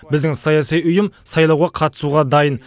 біздің саяси ұйым сайлауға қатысуға дайын